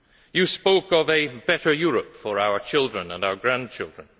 You spoke of a better Europe for our children and our grandchildren.